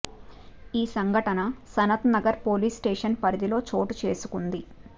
ఈ సంఘటన Sanath Nagar police station పరిధిలో చోటు చేసుకుంది